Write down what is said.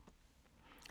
DR2